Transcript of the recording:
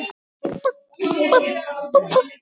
Verð ég stjóri á jóladag?